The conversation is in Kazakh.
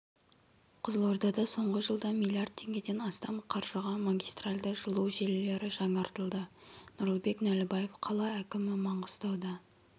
қызылордада соңғы жылда млрд теңгеден астам қаржыға магистральді жылу желілерінің жаңартылды нұрлыбек нәлібаев қала әкімі маңғыстауда